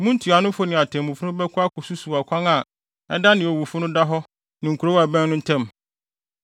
mo ntuanofo ne atemmufo no bɛkɔ akosusuw ɔkwan a ɛda nea owufo no da hɔ ne kurow a ɛbɛn no ntam.